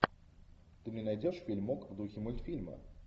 ты мне найдешь фильмок в духе мультфильма